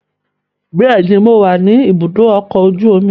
Bẹ́ẹ̀ni, mo wà ni ìbúdókọ̀ ọkọ̀ ojú omi